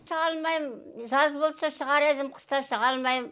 шыға алмайм жаз болса шығар едім қыста шыға алмайм